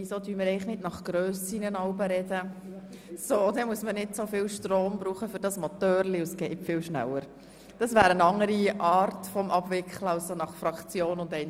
Wieso sprechen wir nicht der Grösse nach, dann braucht man weniger Strom für den Motor des Rednerpults und spart Zeit!